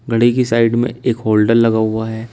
घड़ी की साइड में एक होल्डर लगा हुआ है।